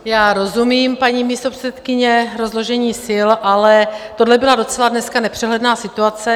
Já rozumím, paní místopředsedkyně, rozložení sil, ale tohle byla docela dneska nepřehledná situace.